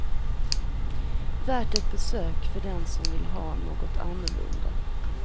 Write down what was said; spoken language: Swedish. Värt ett besök för den som vill ha något annorlunda.